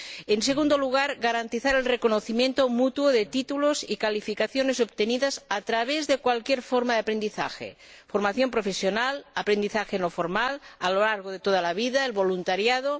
En segundo lugar, garantizar el reconocimiento mutuo de títulos y calificaciones obtenidos a través de cualquier forma de aprendizaje formación profesional, aprendizaje no formal a lo largo de toda la vida, el voluntariado...